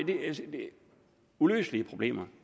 uløselige problemer